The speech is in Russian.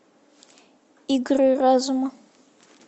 игры разума